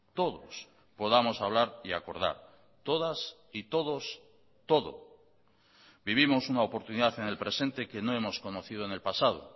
todos podamos hablar y acordar todas y todos todo vivimos una oportunidad en el presente que no hemos conocido en el pasado